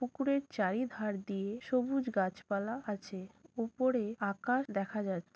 পুকুরের চারিধার দিয়ে সবুজ গাছপালা আছে ওপরে আকাশ দেখা যাচ্ছে।